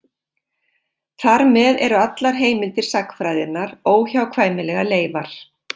Þar með eru allar heimildir sagnfræðinnar óhjákvæmilega leifar.